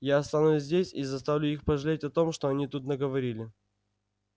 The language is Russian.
я останусь здесь и заставлю их пожалеть о том что они тут наговорили